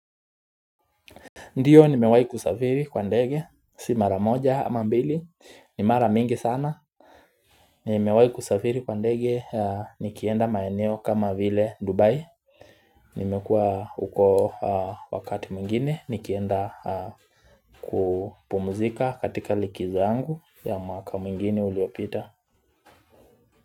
Ndio nimewahi kusafiri kwa ndege, si mara moja ama mbili, ni mara mingi sana. Nimewahi kusafiri kwa ndege nikienda maeneo kama vile Dubai. Nimekuwa huko wakati mwingine nikienda kupumzika katika likizo yangu ya mwaka mwingine uliopita.